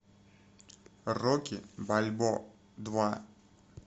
рокки бальбоа два